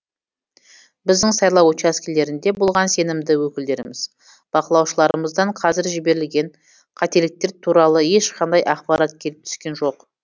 біздің сайлау учаскелерінде болған сенімді өкілдеріміз бақылаушыларымыздан қазір жіберілген қателіктер туралы ешқандай ақпарат келіп түскен жоқ